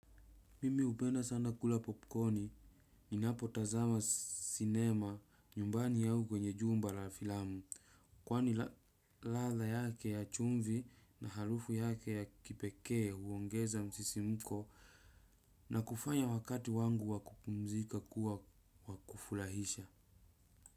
Mimi upenda sana kula popcorni, ni napo tazama cinema nyumbani yao kwenye jumba la filamu. Kwani ladha yake ya chumvi na harufu yake ya kipekee uongeza msisi mko na kufanya wakati wangu wakupumzika kuwa wakufurahisha.